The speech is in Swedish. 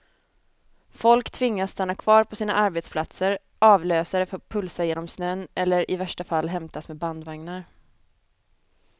Folk tvingas stanna kvar på sina arbetsplatser, avlösare får pulsa genom snön eller i värsta fall hämtas med bandvagnar.